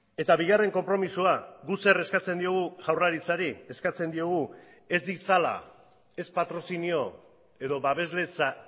eta bigarren konpromisoa guk zer eskatzen diogu jaurlaritzari eskatzen diogu ez ditzala ez patrozinio edo babesletza